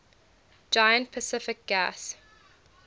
giant pacific gas